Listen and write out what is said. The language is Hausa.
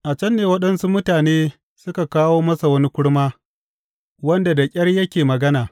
A can ne waɗansu mutane suka kawo masa wani kurma, wanda da ƙyar yake magana.